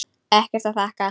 Ekkert að þakka